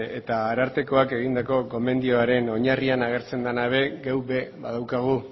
eta arartekoak egindako gomendioaren oinarrian agertzen dena ere guk ere badaukagu